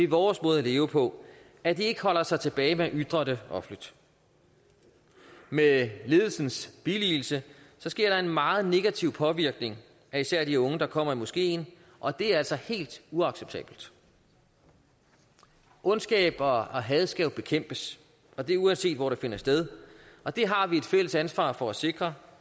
vores måde at leve på at de ikke holder sig tilbage med at ytre det offentligt med ledelsens billigelse sker der en meget negativ påvirkning af især de unge der kommer i moskeen og det er altså helt uacceptabelt ondskab og had skal jo bekæmpes og det uanset hvor det finder sted og det har vi et fælles ansvar for at sikre